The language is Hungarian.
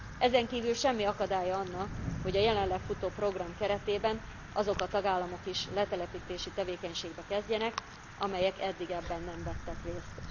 Ezen kívül semmi akadálya annak, hogy a jelenleg futó program keretében azok a tagállamok is letelepítési tevékenységbe kezdjenek, amelyek eddig ebben nem vettek részt.